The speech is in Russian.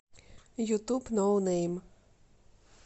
ютуб ноунэйм